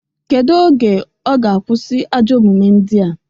Kedu oge ọ ga-akwụsị ajọ omume ndia?